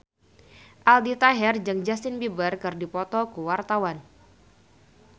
Aldi Taher jeung Justin Beiber keur dipoto ku wartawan